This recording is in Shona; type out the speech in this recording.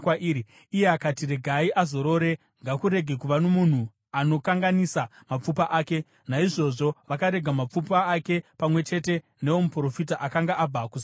Iye akati, “Regai azorore. Ngakurege kuva nomunhu anokanganisa mapfupa ake.” Naizvozvo vakarega mapfupa ake pamwe chete neomuprofita akanga abva kuSamaria.